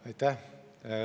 Aitäh!